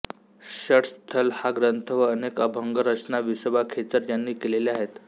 षट्स्थल हा ग्रंथ व अनेक अभंग रचना विसोबा खेचर यांनी केलेल्या आहेत